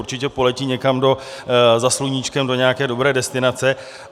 Určitě poletí někam za sluníčkem do nějaké dobré destinace.